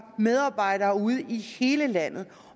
medarbejdere ude i hele landet